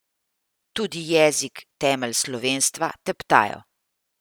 Tudi jezik, temelj slovenstva, teptajo.